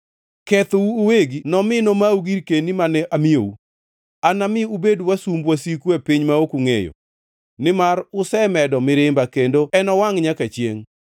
Kethou uwegi nomi nomau girkeni mane amiyou. Anami ubed wasumb wasiku e piny ma ok ungʼeyo, nimar usemedo mirimba, kendo enowangʼ nyaka chiengʼ.”